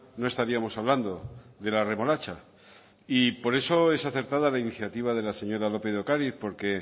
no estaríamos hablando de la remolacha por eso es acertada la iniciativa de la señora lópez de ocariz porque